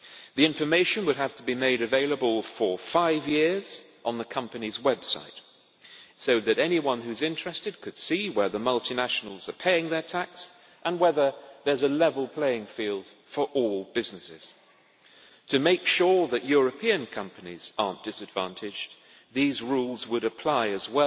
The information would have to be made available for five years on the company's website so that anyone who is interested could see where multinationals are paying their tax and whether there is a level playing field for all businesses. To make sure European companies are not disadvantaged, these rules would apply also